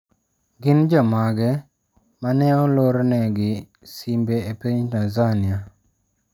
Gin jomage ma ne olorne gi simbe e piny Tanzania?